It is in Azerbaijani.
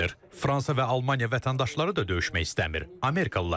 Fransa və Almaniya vətəndaşları da döyüşmək istəmir, amerikalılar kimi.